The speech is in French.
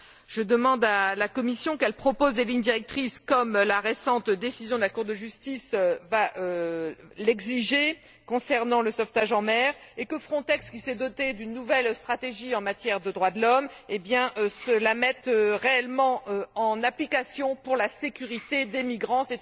Je demande à la Commission qu'elle propose des lignes directrices, comme la récente décision de la Cour de justice l'exigeait concernant le sauvetage en mer, et que Frontex, qui s'est doté d'une nouvelle stratégie en matière de droits de l'homme, la mette réellement en application pour la sécurité des migrants.